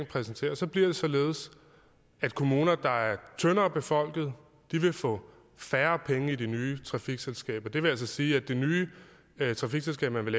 præsenteret så bliver det således at kommuner der er tyndere befolket vil få færre penge i det nye trafikselskab og det vil altså sige at det nye trafikselskab man vil